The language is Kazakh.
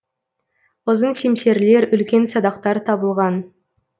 ұзын семсерлер үлкен садақтар табылған